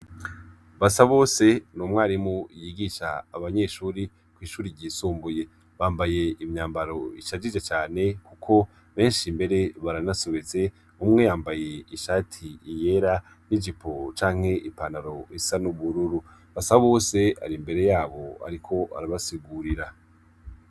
Basabose ni umwarimu yigisha abanyeshuri kw'shuri ryisumbuye. Bambaye imyambaro ishajije cane kuko benshi mbere baranasobetse. Umwe yambaye ishati yera n'ijipo canke ipantaro isa n'ubururu. Basabose ari imbere yabo ariko arabasigurira.